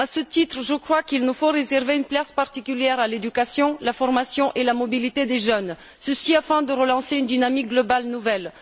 À ce titre, je crois qu'il nous faut réserver une place particulière à l'éducation, à la formation et à la mobilité des jeunes, ceci afin de relancer une dynamique globale nouvelle.